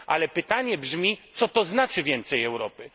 Ale pytanie brzmi co to znaczy więcej Europy?